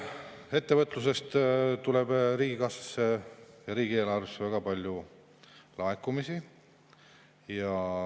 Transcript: Ettevõtlusest tuleb riigikassasse ja riigieelarvesse väga palju laekumisi.